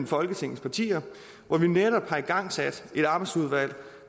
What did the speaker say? folketingets partier hvor vi netop har fået igangsat et arbejdsudvalg